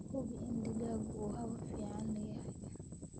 Hubi in digaaggu uu hawo fiican leeyahay.